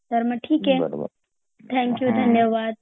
तर मग ठिके थॅंक यू धन्यवाद